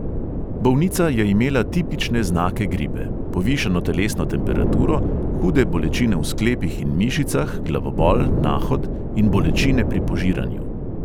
Bolnica je imela tipične znake gripe: povišano telesno temperaturo, hude bolečine v sklepih in mišicah, glavobol, nahod in bolečine pri požiranju.